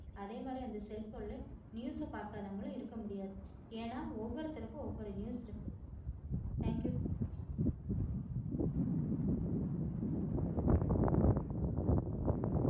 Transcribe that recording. அதே மாதிரி அந்த cell phone ல news பாக்காதவங்களும் இருக்க முடியாது ஏன்னா ஒவ்வருத்தவருக்கும் ஒவ்வரு news இருக்கு. Thank you